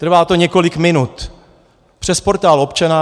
Trvá to několik minut přes Portál občana.